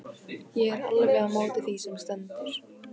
Ég er alveg á móti því sem stendur.